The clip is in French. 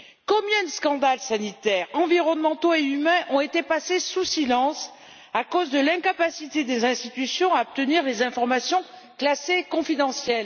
Combien de scandales sanitaires, environnementaux et humains ont été passés sous silence à cause de l'incapacité des institutions à obtenir des informations classées confidentiel?